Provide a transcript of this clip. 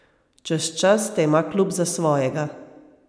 Čez čas te ima klub za svojega.